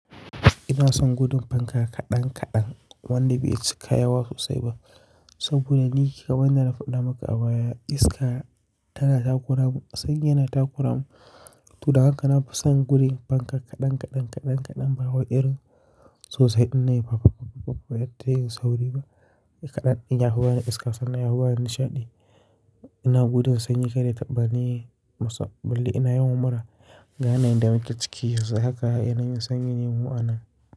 Ina son gudun fanka kaɗan kaɗan wanda bai cika yawa sosai ba saboda ni kawai na faɗa maka a baya iska tana taƙuramin, sanyi yana taƙuramin. To don haka na fi son gudun fanka kaɗan kaɗan, kaɗan kaɗan, ba waye irin sosai inda yafi babba babba, yadda yayi sauri ba. Kaɗan, in yafi bani iska, sannan yafi bani nishaɗi. Ina gudun sanyi, kada ya taɓa ni. Masan bali ina yawan mura, ga yanayin da muke ciki yanzu haka yana yin sanyi mu'anan.